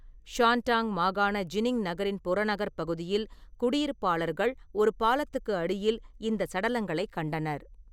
Shandong மாகாண Jining நகரின் புறநகர்ப் பகுதியில் குடியிருப்பாளர்கள் ஒரு பாலத்துக்கு அடியில் இந்தச் சடலங்களைக் கண்டனர்.